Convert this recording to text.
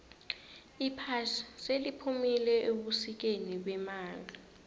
iphasi seliphumile ebusikeni bemali